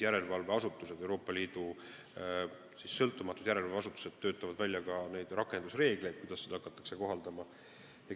Euroopa Liidu sõltumatud järelevalveasutused töötavad välja neid rakendusreegleid, kuidas seda kohaldama hakatakse.